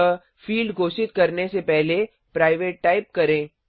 अतः फील्ड घोषित करने से पहले प्राइवेट टाइप करें